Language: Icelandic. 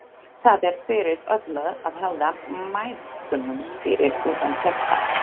Það er fyrir öllu að halda mæðgunum fyrir utan þetta.